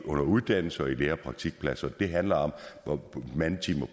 under uddannelse og i lære og praktikpladser det handler om mandetimer